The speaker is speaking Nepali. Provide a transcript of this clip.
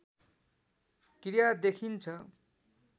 क्रिया देखिन्छ